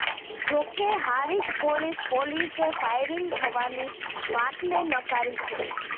જોકે હારીજ પોલીસ પોલીસે ફાયરિંગ થવાની વાતને નકારી છે